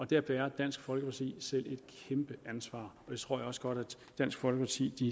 der bærer dansk folkeparti selv et kæmpe ansvar og det tror jeg også godt at dansk folkeparti